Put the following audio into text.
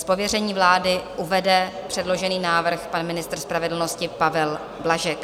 Z pověření vlády uvede předložený návrh pan ministr spravedlnosti Pavel Blažek.